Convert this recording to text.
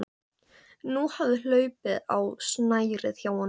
Nú hafði hlaupið á snærið hjá honum.